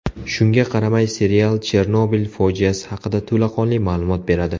Shunga qaramay, serial Chernobil fojiasi haqida to‘laqonli ma’lumot beradi.